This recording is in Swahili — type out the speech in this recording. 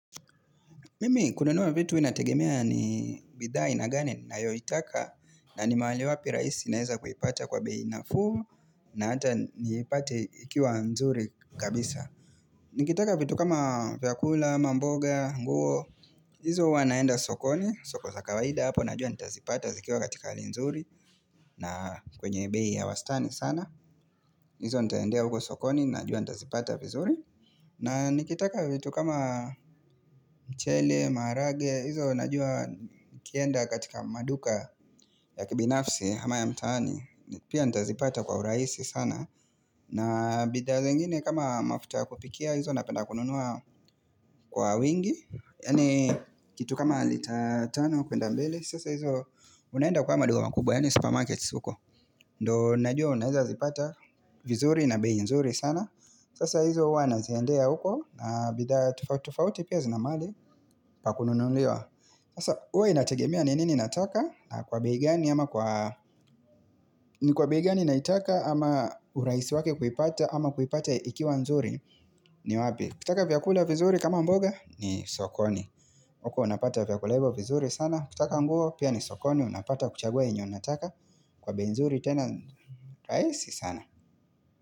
Mimi kununua vitu inategemea ni bidhaa na gani na yo itaka na ni mahali wapi raisi naeza kuipata kwa beina fuu na hata niipate ikiwa nzuri kabisa. Nkiitaka vitu kama viakula, mamboga, nguo, izo wanaenda sokoni, soko za kawaida hapo, najua nitazipata zikiwa katika ali nzuri na kwenye bei wastani sana. Izo ntaendea huko sokoni, najua ntazipata vizuri na nikitaka vitu kama mchele, maharage Izo najua kienda katika maduka ya kibinafsi ama ya mtaani Pia ntazipata kwa uraisi sana na bida zengine kama mafuta kupikia Izo napenda kununua kwa wingi Yani kitu kama liter 5 kuenda mbelr Sasa ndo unahenda kwa maduka makubwa yane supermarket huko ndo najua unahiza zipata vizuri na bei nzuri sana Sasa hizo uwa naziendea uko na bidhaabtufauti pia zinamali pa kununuliwa Sasa uwa inategemia ni nini nataka ni kwa bei gani na itaka ama urahisi wake kuipata ama kuipata ikiwa nzuri ni wapi Kitaka vyakula vizuri kama mboga ni sokoni uko unapata vyakula hivyo vizuri sana Kitaka nguo pia ni sokoni unapata kuchagua inyo unataka Kwa benzuri tena raesi sana.